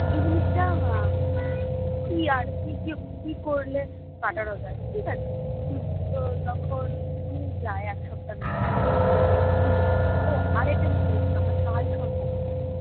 এই জিনিসটা আহ কি আর কী কী কী করলে কাটানো যায়? ঠিক আছে তো তখন উনি যায় এক সপ্তাহের মাথায় ওহ আরেকটা জিনিস বলেছিলো আমার কালসর্প দোষ আছে